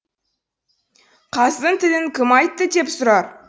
қаздың тілін кім айтты деп сұрар